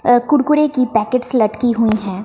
अ कुरकुरे की पैकेट्स लटकी हुई हैं।